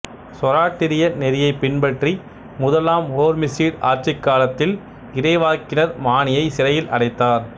சொராட்டிரிய நெறியை பின்பற்றிய முதலாம் ஹோர்மிசிடு ஆட்சிக் காலத்தில் இறைவாக்கினர் மானியை சிறையில் அடைத்தார்